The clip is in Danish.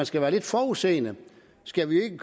skal være lidt forudseende skal vi jo ikke